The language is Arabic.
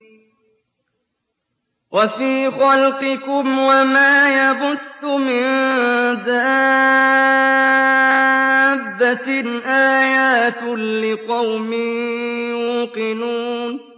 وَفِي خَلْقِكُمْ وَمَا يَبُثُّ مِن دَابَّةٍ آيَاتٌ لِّقَوْمٍ يُوقِنُونَ